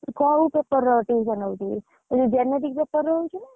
କୋଉ paper ର, tuition ହଉଛୁ? ଏଯୋଉ genetic paper ର, ହଉଛି?